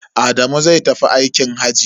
Adamu zai tafi aikin hajji.